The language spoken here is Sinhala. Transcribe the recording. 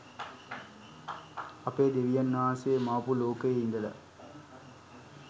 අපේ දෙවියන් වහන්සේ මවපු ලෝකයෙ ඉදලා